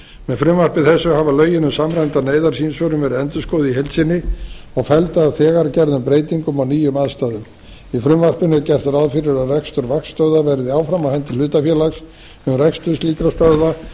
með frumvarpi þessu hafa lögin um samræmda neyðarsímsvörun verið endurskoðuð í heild sinni og felld að þegar gerðum breytingum á nýjum aðstæðum í frumvarpinu er gert ráð fyrir að rekstur vaktstöðvar verði áfram á á hendi hlutafélags um rekstur slíkra stöðva